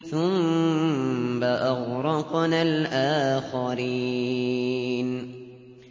ثُمَّ أَغْرَقْنَا الْآخَرِينَ